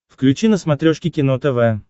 включи на смотрешке кино тв